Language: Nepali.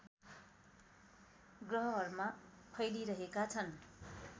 ग्रहहरूमा फैलिरहेका छन्